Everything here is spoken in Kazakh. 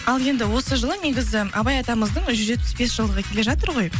ал енді осы жылы негізі абай атамыздың жүз жетпіс бес жылдығы келе жатыр ғой